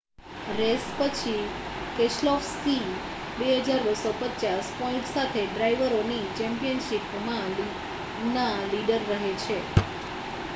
race પછી Keselowski 2,250 point સાથે ડ્રાઇવરોની ચૅમ્પિયનશિપના લીડર રહે છે